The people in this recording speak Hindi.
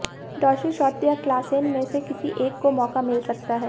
डॉर्सी शॉर्ट या क्लासेन में से किसी एक को मौका मिल सकता है